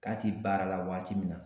K'a ti baara la waati min na